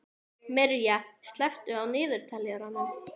Mirja, slökktu á niðurteljaranum.